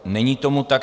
Není tomu tak.